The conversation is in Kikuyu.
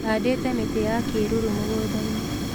Handĩte mĩtĩ ya kĩĩruru mũgũnda-inĩ